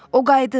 O qayıdır,